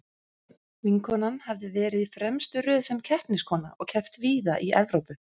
Vinkonan hafði verið í fremstu röð sem keppniskona og keppt víða í Evrópu.